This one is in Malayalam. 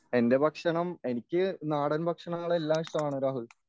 എൻ്റെ ഭക്ഷണം എനിക്ക് നാടൻ ഭക്ഷണങ്ങൾ എല്ലാം ഇഷ്ടമാണ് രാഹുൽ.